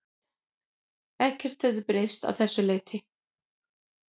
Ekkert hefði breyst að þessu leyti